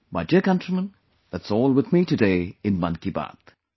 My dear countrymen, that's all with me today in 'Mann Ki Baat'